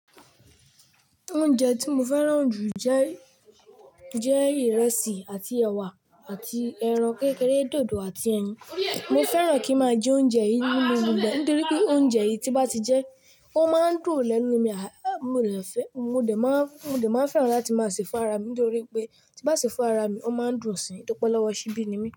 Oúnjẹ tí mo fẹ́ràn jù jẹ́, jẹ́ ìrẹsì àti ẹ̀wà àti ẹran kékeré, dòdò àti ẹyin. Mo fẹ́ràn kí n máa jẹ oúnjẹ yìí nínú gbogbo ẹ̀ nítorí pé oúnjẹ yìí tí n bá ti jẹ́, ó máa ń dùn lẹ́nu mi, mo dè fẹ́, mo dè máa, mo fè máa fẹ́ràn láti máa ṣe fún ara mi nítorí pé tí n bá ṣe fún ara mi, ó máa ń dùn síi toripe olọ́wọ́ ṣíbí ni mí.